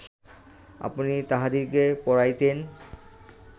আপনি তাহাদিগকে পড়াইতেন